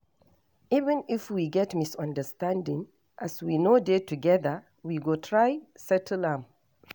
Even if we get misunderstanding as we no dey together, we go try settle am.